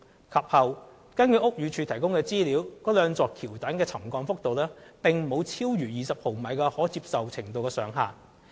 及後，根據屋宇署提供的資料，該兩座橋躉的沉降幅度並沒有超逾20毫米的可接受程度上限。